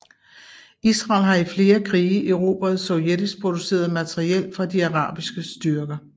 Israel har i flere krige erobret sovjetisk produceret materiel fra de arabiske styrker